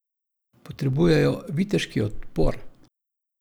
Potrebujejo viteški odpor!